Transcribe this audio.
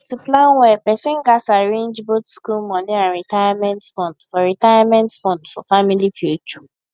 to plan well person gats arrange both school money and retirement fund for retirement fund for family future